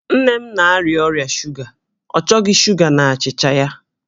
Nne m na-arịa ọrịa shuga, ọ chọghị shuga n'achịcha ya